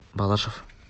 балашов